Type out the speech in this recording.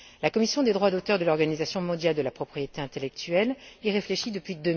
La commission des droits d'auteur de l'Organisation mondiale de la propriété intellectuelle y réfléchit depuis